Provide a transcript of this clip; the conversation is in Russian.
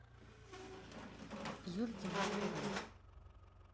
юльке москвиной